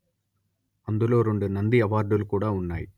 అందులో రెండు నంది అవార్డులు కూడా ఉన్నాయి